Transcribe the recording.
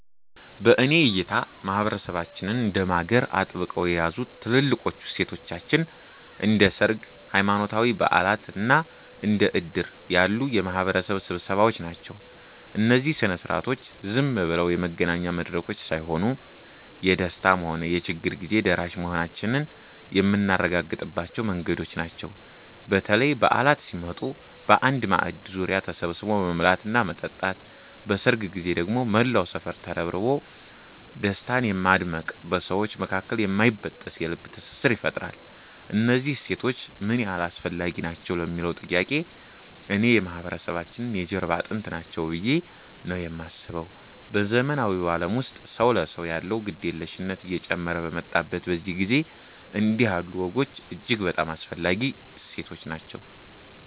በእኔ እይታ ማህበረሰባችንን እንደ ማገር አጥብቀው የያዙት ትልልቆቹ እሴቶቻችን እንደ ሰርግ፣ ሃይማኖታዊ በዓላት እና እንደ ዕድር ያሉ የማህበረሰብ ስብሰባዎች ናቸው። እነዚህ ሥነ ሥርዓቶች ዝም ብለው የመገናኛ መድረኮች ሳይሆኑ፣ የደስታም ሆነ የችግር ጊዜ ደራሽ መሆናችንን የምናረጋግጥባቸው መንገዶች ናቸው። በተለይ በዓላት ሲመጡ በአንድ ማዕድ ዙሪያ ተሰብስቦ መብላትና መጠጣት፣ በሰርግ ጊዜ ደግሞ መላው ሰፈር ተረባርቦ ደስታን ማድመቁ በሰዎች መካከል የማይበጠስ የልብ ትስስር ይፈጥራል። እነዚህ እሴቶች ምን ያህል አስፈላጊ ናቸው ለሚለዉ ጥያቄ፣ እኔ የማህበረሰባችን የጀርባ አጥንት ናቸው ብዬ ነው የማስበው። በዘመናዊው ዓለም ውስጥ ሰው ለሰው ያለው ግድየለሽነት እየጨመረ በመጣበት በዚህ ጊዜ፣ እንዲህ ያሉ ወጎች እጅግ በጣም አስፈላጊ እሴቶች ናቸው።